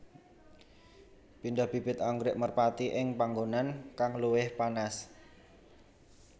Pindah bibit anggrèk merpati ing panggonan kang luwih panas